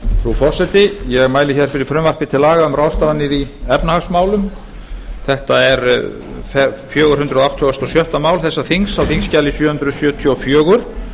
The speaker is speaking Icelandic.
frú forseti ég mæli hér fyrir frumvarpi til laga um ráðstafanir í efnahagsmálum þetta er fjögur hundruð áttugasta og sjötta mál þessa þings á þingskjali sjö hundruð sjötíu og fjögur